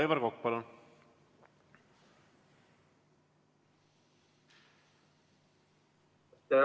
Aivar Kokk, palun!